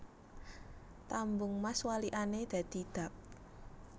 Tambung Mas walikane dadi Dab